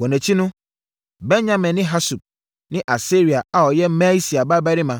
Wɔn akyi no, Benyamin ne Hasub ne Asaria a ɔyɛ Maaseia babarima